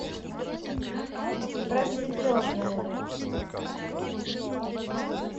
просветленная